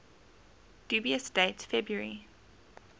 dubious date february